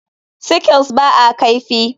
Sickle ba a kaifi.